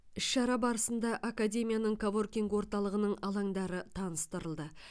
іс шара барысында академияның коворкинг орталығының алаңдары таныстырылды